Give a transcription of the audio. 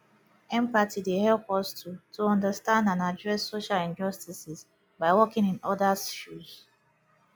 empathy dey help us to to understand and address social injustices by walking in odas shoes